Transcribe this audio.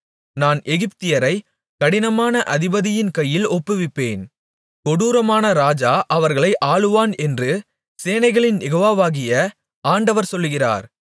நான் எகிப்தியரைக் கடினமான அதிபதியின் கையில் ஒப்புவிப்பேன் கொடூரமான ராஜா அவர்களை ஆளுவான் என்று சேனைகளின் யெகோவாவாகிய ஆண்டவர் சொல்கிறார்